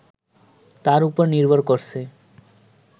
তার ওপর নির্ভর করছে